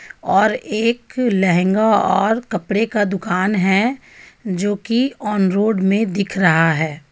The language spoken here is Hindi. और एक लहंगा और कपड़े का दुकान है जो कि ऑन रोड में दिख रहा है.